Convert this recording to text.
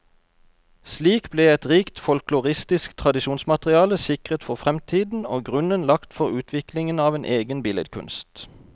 Slik ble et rikt folkloristisk tradisjonsmateriale sikret for fremtiden, og grunnen lagt for utviklingen av en egen billedkunst.